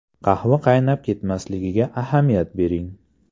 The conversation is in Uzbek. Qahva qaynab ketmasligiga ahamiyat bering.